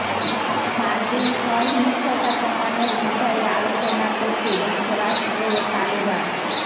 সাত দিন সহিংসতা কমানোর বিষয়ে আলোচনা করছে যুক্তরাষ্ট্র ও তালেবান